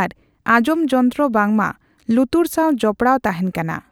ᱟᱨ ᱟᱸᱜᱡᱚᱢ ᱡᱚᱱᱛᱨᱚ ᱵᱟᱝᱢᱟ ᱞᱩᱛᱩᱨ ᱥᱟᱣ ᱡᱚᱯᱚᱲᱟᱣ ᱛᱟᱦᱮᱸᱱ ᱠᱟᱱᱟ ᱾